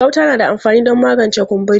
Gauta na da amfani don magance kumburi.